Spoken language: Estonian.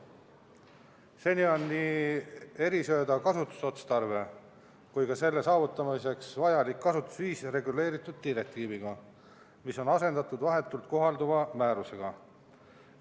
Seniajani oli nii erisööda kasutusotstarve kui ka selle saavutamiseks vajalik kasutusviis reguleeritud direktiiviga, mis on nüüd asendatud vahetult kohalduva määrusega.